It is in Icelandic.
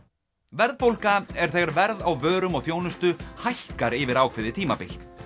verðbólga er þegar verð á vörum og þjónustu hækkar yfir ákveðið tímabil